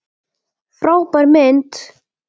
Frábær mynd!